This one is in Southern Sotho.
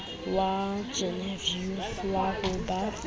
wa genevieve wa ho ba